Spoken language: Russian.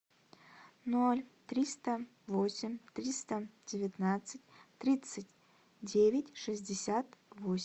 ноль триста восемь триста девятнадцать тридцать девять шестьдесят восемь